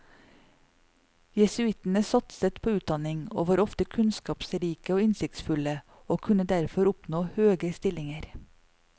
Jesuittene satset på utdanning, og var ofte kunnskapsrike og innsiktsfulle, og kunne derfor oppnå høge stillinger.